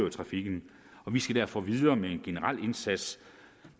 i trafikken og vi skal derfor videre med en generel indsats